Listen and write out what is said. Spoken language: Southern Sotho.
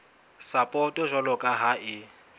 sapoto jwalo ka ha e